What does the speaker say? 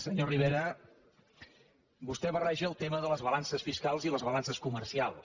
senyor rivera vostè barreja el tema de les balances fiscals i les balances comercials